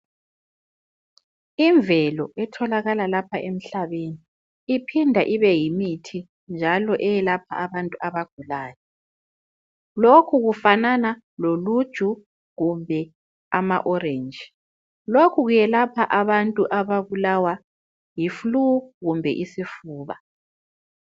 Imvelo etholakala lapha emhlabeni iphinda ibe yimithi njalo eyelapha abantu abagulayo lokhu kufanana loluju kumbe ama orange lokhu kuyelapha abantu ababulawa yi flue kumbe isifuba.